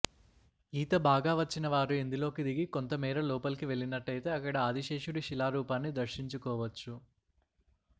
ఈత బాగా వచ్చిన వారు ఇందులోకి దిగి కొంత మేర లోపలికి వెళ్లినట్టయితే అక్కడ ఆదిశేషుడి శిలారూపాన్ని దర్శించుకోవచ్చు